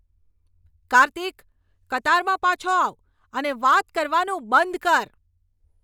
કાર્તિક! કતારમાં પાછો આવ અને વાત કરવાનું બંધ કર.